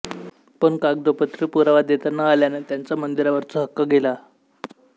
पण कागदोपत्री पुरावा देता न आल्याने त्यांचा मंदिरावरचा हक्क गेला